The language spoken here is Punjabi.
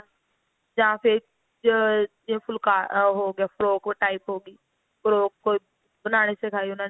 ਜਾਂ ਫਿਰ ਜਿਵੇਂ ਜਿਵੇਂ ਫੁੱਲਕਾ ਉਹ ਹੋ ਗਿਆ ਹੋ ਗਿਆ frock type ਹੋਗੀ frock ਕੋਈ ਬਣਾਨੀ ਸਿਖਾਈ ਉਹਨਾ ਨੇ